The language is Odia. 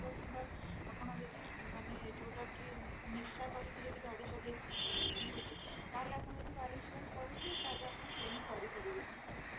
ଆପଣ ଯଦି ମାନେ ଯୋଉଟା କି ନିଶା କରିକି ଗାଡି ଚଳେଇ ତାହେଲେ ଆପଣ ଯଦି car insurance କରିଛନ୍ତି ତାହେଲେ ଆପଣ claim କରିପାରିବେନି